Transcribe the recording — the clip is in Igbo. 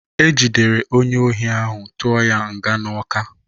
Ejidere onye ohi ahụ tụọ ya nga na Ọka.